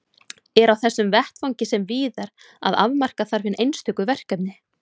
Er á þessum vettvangi sem víðar að afmarka þarf hin einstöku verkefni.